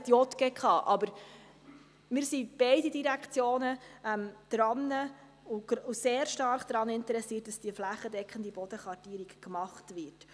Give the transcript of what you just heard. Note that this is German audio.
Beide Direktionen sind sehr stark daran interessiert, dass diese flächendeckende Bodenkartierung gemacht wird.